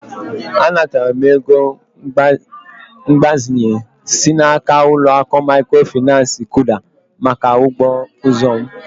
Anataram ego mgbazinye si n'aka uloaku mikrofinansi KUDA maka ugbo azụ m.